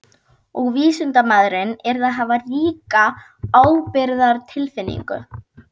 Og vísindamaðurinn yrði að hafa ríka ábyrgðartilfinningu.